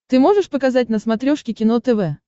ты можешь показать на смотрешке кино тв